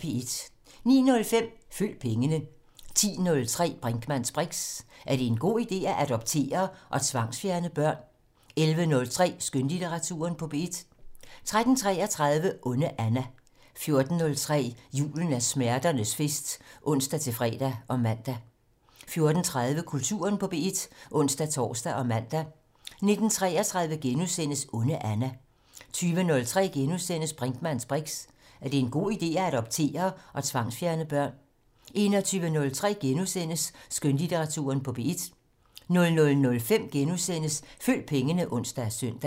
09:05: Følg pengene 10:03: Brinkmanns briks: Er det en god ide at adoptere og tvangsfjerne børn? 11:03: Skønlitteratur på P1 13:33: Onde Anna 14:03: Julen er smerternes fest (ons-fre og man) 14:30: Kulturen på P1 (ons-tor og man) 19:33: Onde Anna * 20:03: Brinkmanns briks: Er det en god ide at adoptere og tvangsfjerne børn? * 21:03: Skønlitteratur på P1 * 00:05: Følg pengene *(ons og søn)